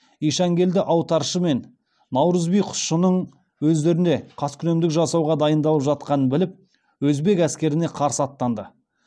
ишанкелді аутаршы мен наурыз би құсшының өздеріне қаскүнемдік жасауға дайындалып жатқанын біліп өзбек әскеріне қарсы аттанды